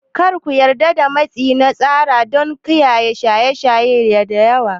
Kada ku yarda da matsi na tsara don shaye shaye da yawa.